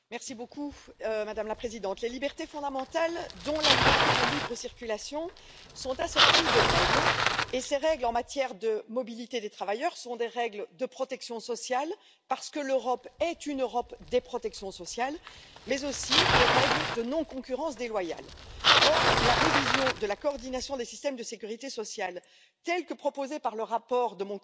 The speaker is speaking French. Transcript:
Madame la Présidente, les libertés fondamentales, dont la liberté de libre circulation, sont assorties de règles, qui sont, en matière de mobilité des travailleurs, des règles de protection sociale, parce que l'Europe est une Europe des protections sociales, mais aussi des règles de concurrence non déloyale. Or, la révision de la coordination des systèmes de sécurité sociale, telle que proposée par le rapport de mon collègue, M.